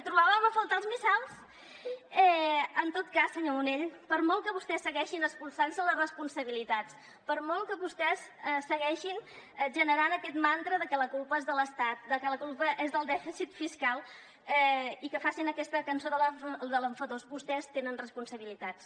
trobàvem a faltar els missals en tot cas senyor munell per molt que vostès segueixin espolsant se les responsabilitats per molt que vostès segueixin generant aquest mantra de que la culpa és de l’estat de que la culpa és del dèficit fiscal i que facin aquesta cançó de l’enfadós vostès tenen responsabilitats